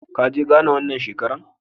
Ka ye Ghana wan shekara?